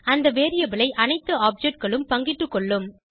அந்த வேரியபிள் ஐ அனைத்து objectகளும் பங்கிட்டுக் கொள்ளும்